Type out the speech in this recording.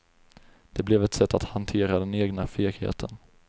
Det blev ett sätt att hantera den egna fegheten.